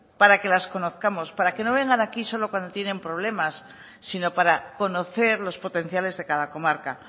para que las conozcamos para que no vengan aquí solo cuando tienen problemas sino para conocer los potenciales de cada comarca